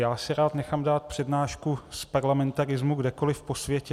Já si rád nechám dát přednášku z parlamentarismu kdekoliv po světě.